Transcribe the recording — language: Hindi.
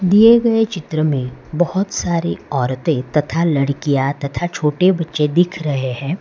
दिए गए चित्र में बहुत सारी औरतें तथा लड़कियां तथा छोटे बच्चे दिख रहे हैं।